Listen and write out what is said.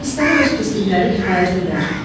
Pislərə öz pislikləri kifayət edər."